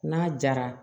N'a jara